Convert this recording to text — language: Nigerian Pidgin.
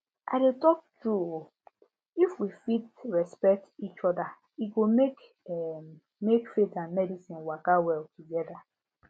i dey talk true um if we fit respect each other e go um make faith and medicine waka well together